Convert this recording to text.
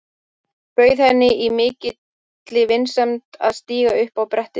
Bauð henni í mikilli vinsemd að stíga upp á brettið mitt.